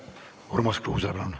Urmas Kruuse, palun!